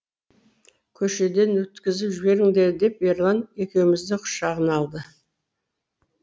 көшеден өткізіп жіберіңдер деп ерлан екеумізді құшағына алды